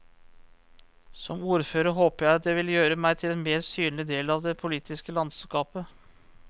Som ordfører håper jeg det vil gjøre meg til en mer synlig del av det politiske landskapet.